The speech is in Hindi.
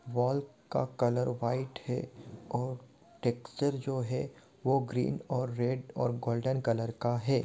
वॉल का कलर व्हाइट है और टेक्सचर जो है वो ग्रीन और रेड कलर और गोल्डन कलर का है ।